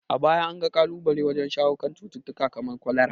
A baya an ga kalubale wajen shawo kan cututtuka kamar kwalara.